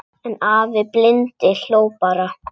En afi blindi hló bara.